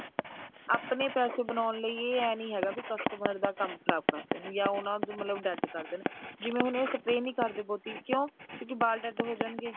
ਆਪਣੇ ਪੈਸੇ ਬਣਾਉਣ ਲਈ ਇਹ ਐ ਨਹੀਂ ਹੈਗਾ ਵੀ customer ਦਾ ਕੰਮ ਖ਼ਰਾਬ ਕਰਦੇ ਨੇ ਜਾ ਉਹਨਾ ਦਾ ਮਤਲਬ dead ਕਰਦੇ ਨੇ ਜਿਵੇਂ ਹੁਣ ਇਹ spray ਨਹੀਂ ਕਰਦੇ ਬਹੁਤੀ ਕਿਉਂਕਿ ਬਾਲ dead ਹੋ ਜਾਣਗੇ